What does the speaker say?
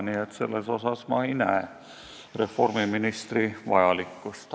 Nii et selles mõttes ma ei näe reformiministri vajalikkust.